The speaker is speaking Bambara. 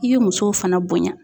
I ye musow fana bonya